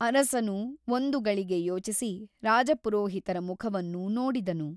ಅರಸನು ಒಂದು ಗಳಿಗೆ ಯೋಚಿಸಿ ರಾಜಪುರೋಹಿತರ ಮುಖವನ್ನು ನೋಡಿದನು.